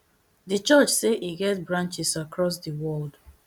di church say e get branches across di world